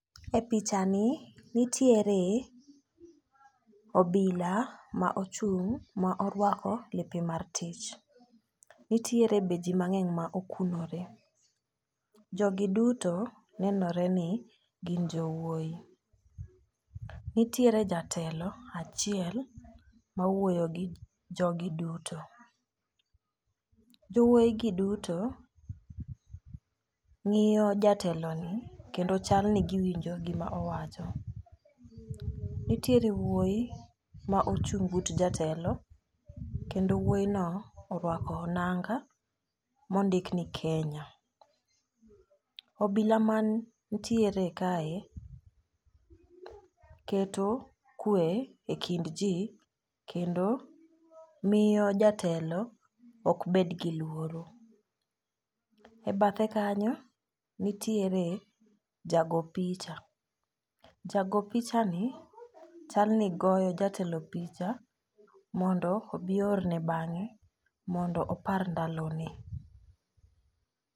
E picha ni nitiere obila ma ochung' ma orwako lepe mar tich. Nitiere be jii mang'eny ma okunore. Jogi duto nenore ni gin jowuoyi . Nitiere jatelo achiel ma wuoyo gi jogi duto. Jowuoyi gi duto ng'iyo jatelo ni kendo chal ni giwinjo gima owacho . Nitiere wuoyi ma ochung' but jatelo kendo wuoyi no orwako nanga ma ondik ni kenya. Obila mantiere kae keto kwe e kind jii kendo miyo jatelo ok bed gi luoro. E bathe kanyo nitiere jago picha . Jago picha ni chal ni goyo jatelo picha mondo obi oorne bang'e mondo opar ndalo ne.